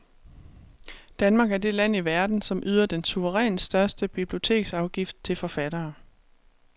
Danmark er det land i verden, som yder den suverænt største biblioteksafgift til forfattere.